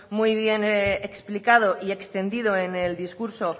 muy bien explicado y extendido en el discurso